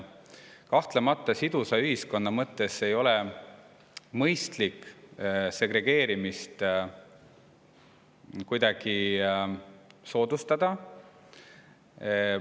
Kahtlemata sidusa ühiskonna mõttes ei ole mõistlik segregeerimist kuidagi soodustada.